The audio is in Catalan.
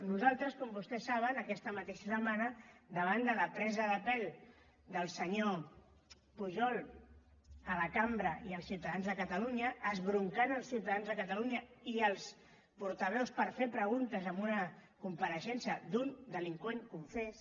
nosaltres com vostès saben aquesta mateixa setmana davant de la presa de pèl del senyor pujol a la cambra i als ciutadans de catalunya esbroncant els ciutadans de catalunya i els portaveus per fer preguntes en una compareixença d’un delinqüent confés